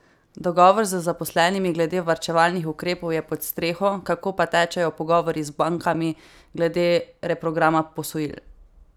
Dogovor z zaposlenimi glede varčevalnih ukrepov je pod streho, kako pa tečejo pogovori z bankami glede reprograma posojil?